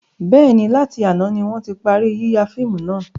Bẹ́ẹ̀ni, láti àná ni wọn ti parí yíya fíìmù náà.